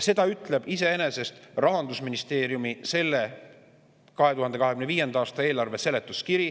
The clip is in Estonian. Seda ütleb iseenesest Rahandusministeeriumi 2025. aasta eelarve seletuskiri.